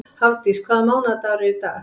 Hafdís, hvaða mánaðardagur er í dag?